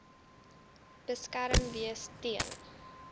beskerm wees teen